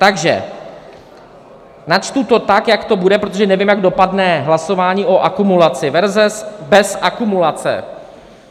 Takže načtu to tak, jak to bude, protože nevím, jak dopadne hlasování o akumulaci, verze bez akumulace.